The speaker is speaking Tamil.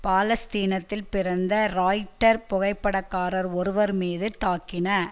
பாலஸ்தீனத்தில் பிறந்த ராயிட்டர் புகைப்படக்காரர் ஒருவர் மீது தாக்கின